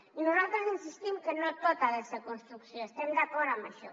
i nosaltres insistim que no tot ha de ser construcció hi estem d’acord amb això